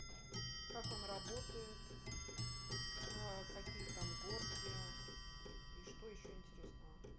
как он работает какие там горки и что еще интересного